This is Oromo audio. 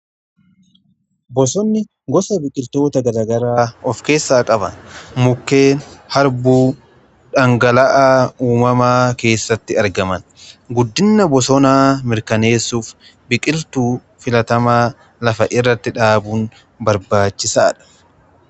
bosonni gosa biqiltoota garaa garaa of keessaa qaba. mukkeen harbuu dhangala'aa uumamaa keessatti argaman guddina bosonaa mirkaneessuuf biqiltuu filatamaa lafa irratti dhaabuun barbaachisaadha.